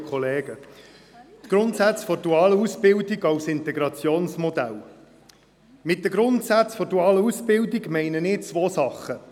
«Grundsätze der dualen Ausbildung als Integrationsmodell» – mit diesen Grundsätzen der dualen Ausbildung meine ich zwei Dinge: